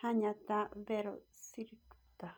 hanya ta Velociraptor.